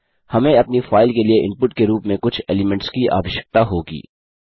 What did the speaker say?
हमें अपनी फाइल के लिए इनपुट के रूप में कुछ एलीमेंट्स की आवश्यकता होगी